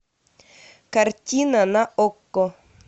картина на окко